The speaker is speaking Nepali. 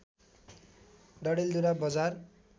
डडेलधुरा बजार